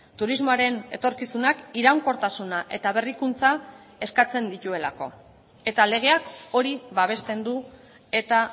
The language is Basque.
turismoaren etorkizunak iraunkortasuna eta berrikuntza eskatzen dituelako eta legeak hori babesten du eta